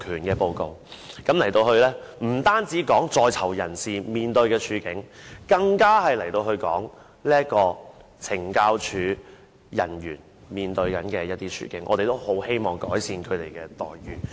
該報告不單有關在囚人士面對的處境，更提到懲教署人員面對的處境，我們也很希望能改善他們的待遇。